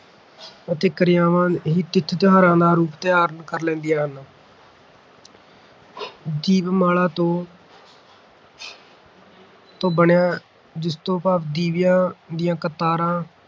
ਅਤੇ ਕਿਰਿਆਵਾਂ ਹੀ ਤਿਥ-ਤਿਉਹਾਰਾਂ ਦਾ ਰੂਪ ਧਾਰਨ ਕਰ ਲੈਂਦੀਆਂ ਹਨ ਦੀਪਮਾਲਾ ਤੋਂ ਬਣਿਆ ਜਿਸ ਤੋਂ ਭਾਵ ਦੀਵਿਆਂ ਦੀਆਂ ਕਤਾਰਾਂ